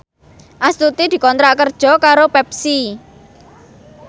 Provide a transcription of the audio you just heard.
Astuti dikontrak kerja karo Pepsi